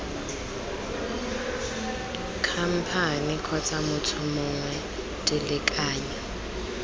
khamphane kgotsa motho mongwe dilekanyo